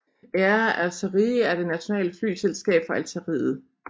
Air Algérie er det nationale flyselskab fra Algeriet